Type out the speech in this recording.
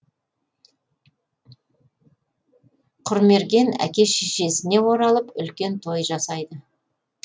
құрмерген әке шешесіне оралып үлкен той жасайды